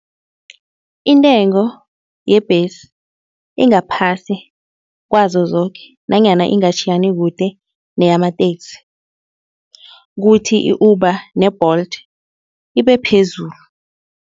Intengo yebhesi ingaphasi kwazo zoke nanyana ingatjhiyani kude neyamateksi. Kuthi i-Uber ne-Bolt ibe phezulu.